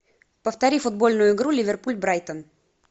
повтори футбольную игру ливерпуль брайтон